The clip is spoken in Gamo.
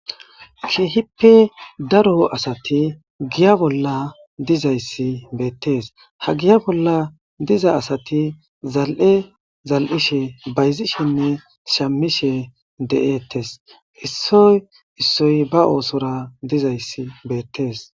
Kehipe daro asati giya bola dizaysi betes ha giya bola diza asati zal'e zali'she bayzishenne shamishe de'etes issoy issoy ba osora dizaysi betes.